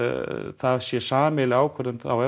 það sé sameiginleg ákvörðun þá e